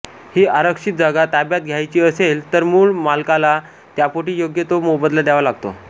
ही आरक्षित जागा ताब्यात घ्यायची असेल तर मूळ मालकाला त्यापोटी योग्य तो मोबदला द्यावा लागतो